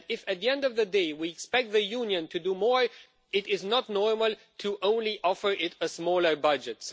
If, at the end of the day, we expect the Union to do more, it is not normal to offer it a smaller budget.